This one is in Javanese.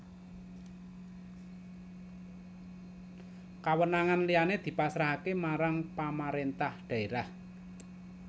Kawenangan liyané dipasrahaké marang pamaréntah dhaérah